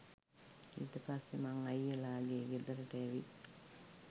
ඊට පස්සේ මං අයියලාගේ ගෙදරට ඇවිත්